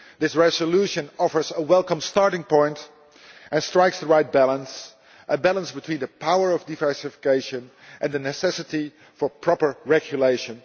This resolution offers a welcome starting point and strikes the right balance, a balance between the power of diversification and the necessity for proper regulation.